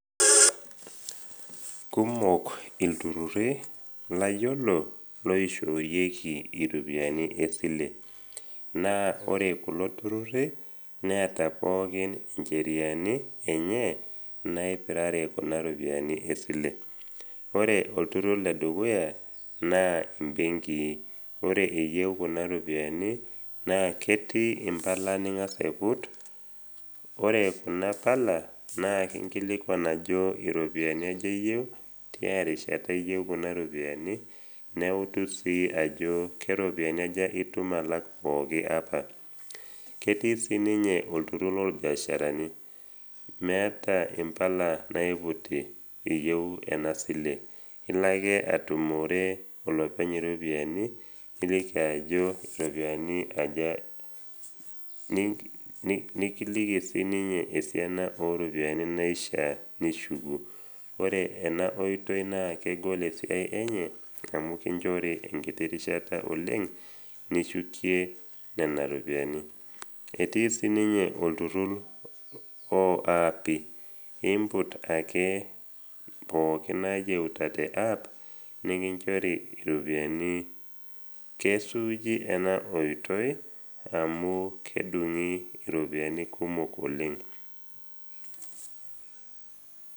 Kumok ilturruri layolo loishoorieki iropiani esile. Naa ore kulo turruri neata pookin incheriani enye naipirare kuna ropiani esile. Ore olturrur le dukuya naa imbenki. Ore iyeu kuna ropiani naa ketii impala ning’as aiput. Ore kuna pala, naa kinkilikuan ajo iropiani aja iyeu, tiarishata iyeu kuna ropiani, neutu sii ajo, keropiani aja itum alak pooki apa. Ketii siininye olturrur lolbiasharani. Meata impala naiputi iyeu ena sile, ilo ake atumore olopeny iropiani niliki ajo iyeu iropiani aja, nikiliki siininye esiana o ropiani naishaa nishuku, ore ena oitoi naa kegol esiai enye amu kinchori enkiti rishita oleng nishukie nena ropiani. Etii siininye olturrur o aapi, imput ake nena pookin nayeuta teapp nekinchori iropiani. Kesuuji ena oitoi amu kedung iropiani kumok oleng.